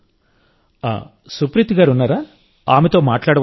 నువ్వు సుప్రీత్ గారున్నారా ఆమెతో మాట్లాడవచ్చా